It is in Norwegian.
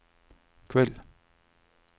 kveld